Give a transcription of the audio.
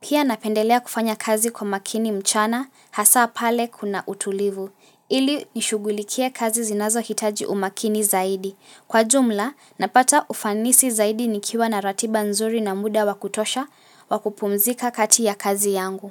Pia napendelea kufanya kazi kwa makini mchana hasa pale kuna utulivu. Ili nishugulikie kazi zinazohitaji umakini zaidi. Kwa jumla napata ufanisi zaidi nikiwa na ratiba nzuri na muda wakutosha wakupumzika kati ya kazi yangu.